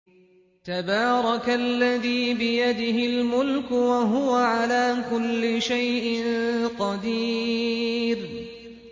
تَبَارَكَ الَّذِي بِيَدِهِ الْمُلْكُ وَهُوَ عَلَىٰ كُلِّ شَيْءٍ قَدِيرٌ